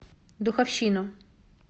духовщину